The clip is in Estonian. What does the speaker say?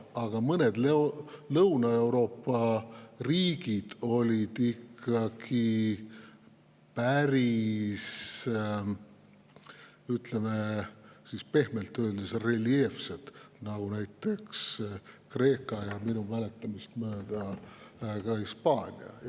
Aga mõned Lõuna-Euroopa riigid olid pehmelt öeldes päris reljeefsed, näiteks Kreeka ja minu mäletamist mööda ka Hispaania.